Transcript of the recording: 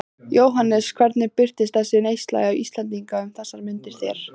Jóhannes: Hvernig birtist þessi neysla Íslendinga um þessar mundir þér?